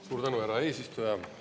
Suur tänu, härra eesistuja!